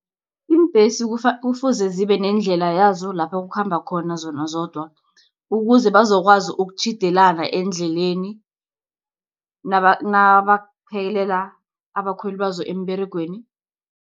Iimbhesi kufuze zibe nendlela yazo lapho kukhamba khona zona zodwa, ukuze bazokwazi ukutjhiyedelana endleleni, nabaphekelela abakhweli bazo emberegweni.